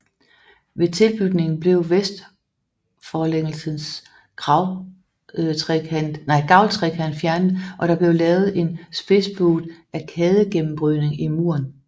Ved tilbygningen blev vestforlængelsens gavltrekant fjernet og der blev lavet en spidsbuet arkadegennembrydning i muren